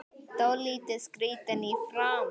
Dálítið skrýtin í framan.